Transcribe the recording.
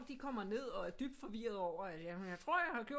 De kommer ned og er dybt forvirrede over jeg tror jeg har gjort